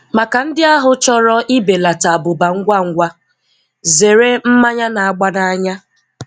Maka ndị ahụ chọrọ ịbelata abụba ngwa ngwa, zere mmanya na-agba n'anya.